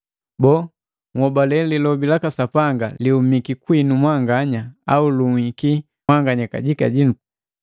Boo, nholale lilobi laka Sapanga lihumiki kwinu mwanganya au lunhiki mwanganya kajika jinu?